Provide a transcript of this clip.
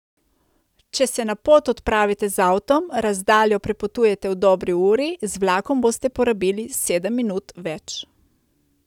Če se na pot odpravite z avtom, razdaljo prepotujete v dobri uri, z vlakom boste porabili sedem minut več.